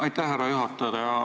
Aitäh, härra juhataja!